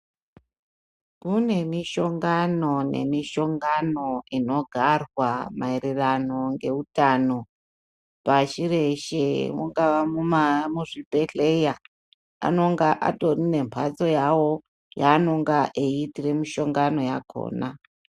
Kune mishongano nemishongano inogarwa maererano ngeutano pashi reshe ungava muzvibhedhleya anenge atori nemphatso yawo yeanenge eiitira mishongano yakhona.